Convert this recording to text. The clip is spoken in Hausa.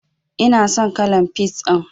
Ina son kalan peas ɗin.